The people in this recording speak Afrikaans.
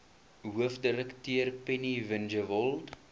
hoofdirekteur penny vinjevold